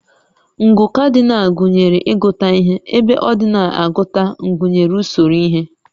Ngụ Cardinal gụnyere ịgụta ihe, ebe ordinal agụta gụnyere usoro ihe